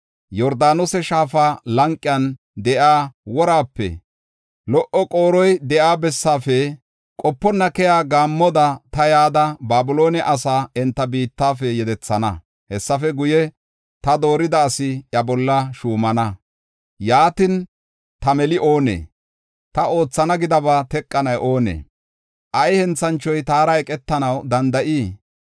“Yordaanose shaafa lanqen de7iya woraape, lo77o qooroy de7iya bessafe qoponna keyiya gaammoda, ta yada, Babiloone asaa enta biittafe yedethana. Hessafe guye, ta doorida asi iya bolla shuumana; yaatin ta meli oonee? Ta oothana gidaba teqanay oonee? Ay henthanchoy taara eqetanaw danda7ii?